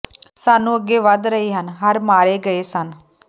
ਸਾਨੂੰ ਅੱਗੇ ਵਧ ਰਹੇ ਹਨ ਹਰ ਮਾਰੇ ਗਏ ਸਨ